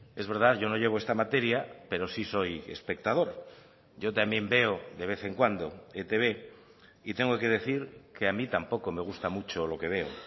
es verdad yo no llevo esta materia pero sí soy espectador yo también veo de vez en cuando etb y tengo que decir que a mí tampoco me gusta mucho lo que veo